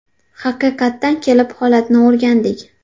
Haqiqatan kelib, holatni o‘rgandik.